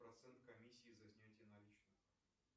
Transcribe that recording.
процент комиссии за снятие наличных